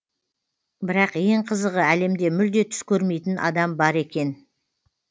бірақ ең қызығы әлемде мүлде түс көрмейтін адам бар екен